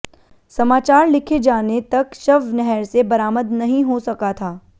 समाचार लिखे जाने तक शव नहर से बरामद नहीं हो सका था